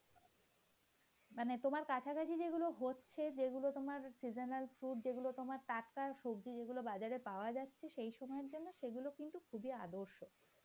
মানে তোমার কাছাকাছি যেগুলো হচ্ছে, যেগুলো তোমার seasonal fruit যেগুলো তোমার টাটকা সবজি বাজারে পাওয়া যাচ্ছে সেই সময়ের জন্য সেগুলো কিন্তু খুবই আদর্শ.